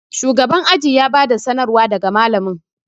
shugaban aji ya bada sanarwa daga malamin